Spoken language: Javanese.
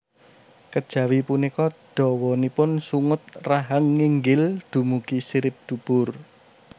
Kejawi punika dawanipun sungut rahang nginggil dumugi sirip dubur